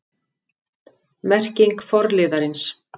Merking forliðarins